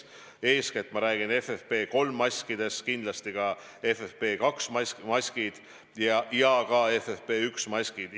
Eeskätt ma räägin FFP3 maskidest, aga kindlasti ka FFP2 ja ka FFP1 maskidest.